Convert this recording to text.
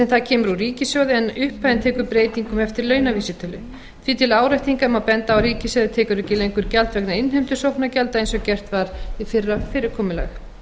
kemur úr ríkissjóði en upphæðin tekur breytingum eftir launavísitölu því til áréttingar má benda á að ríkissjóður tekur ekki lengur gjald vegna innheimtu sóknargjalda eins og gert var við fyrra fyrirkomulag